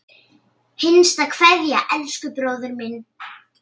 HINSTA KVEÐJA Elsku bróðir minn.